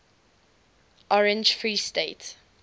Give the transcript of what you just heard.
orange free state